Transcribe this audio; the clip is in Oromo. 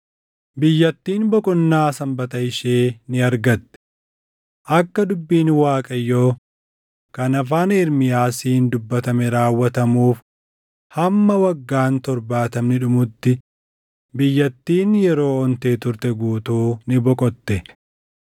Biyyattiin boqonnaa sanbata ishee ni argatte; akka dubbiin Waaqayyoo kan afaan Ermiyaasiin dubbatame raawwatamuuf hamma waggaan torbaatamni dhumutti biyyattiin yeroo ontee turte guutuu ni boqotte.